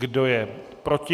Kdo je proti?